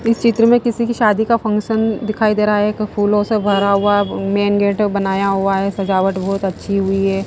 इस चित्र में किसी की शादी का फंक्शन दिखाई दे रहा है एक फूलों से भरा हुआ मेन गेट बनाया हुआ है सजावट बहुत अच्छी हुई है।